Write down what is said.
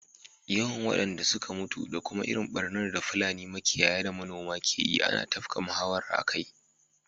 Yawan wadanda suka mutu da kuma irin barnar da Fulani makiyaya da manoma ke yi ana tafka muhawara akai.